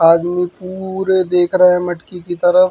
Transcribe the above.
आदमी पूरे ए देख रहे मटकी की तरफ।